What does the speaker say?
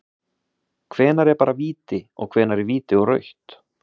Hvenær er bara víti, og hvenær er víti og rautt??